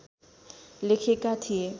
लेखेका थिए